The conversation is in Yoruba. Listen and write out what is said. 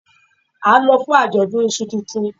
A n lọ fún ajọdun ìṣù tuntun